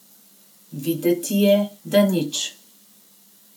Videti je, da nič.